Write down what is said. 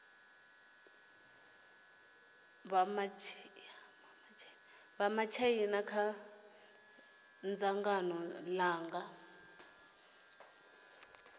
vha matshaina kha dzangano langa